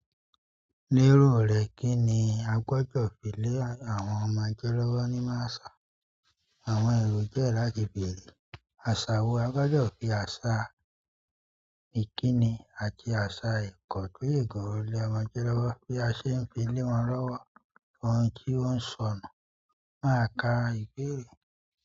Lérò rẹ̀ kí ni a gbọ́dọ̀ fi lé àwọn ọmọdẹ́ lọ́wọ́ nínú àṣà àwọn èrò jẹ́ láti bèrè? Aṣa wo-- a gbọ́dọ̀ fi àṣà ìkíni àti àṣà ẹ̀kọ́ le àwọn ọmọdẹ́ lọ́wọ́. Bí a ṣe ń fi lé wọn lọ́wọ́ ohun tí ó ń sọnù máa ka ìbéèrè.